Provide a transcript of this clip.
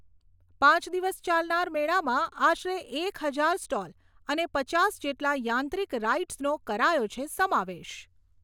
પાંચ દિવસ ચાલનાર મેળામાં આશરે એક હજાર સ્ટોલ અને પચાસ જેટલા યાંત્રિક રાઈડ્સનો કરાયો છે સમાવેશ.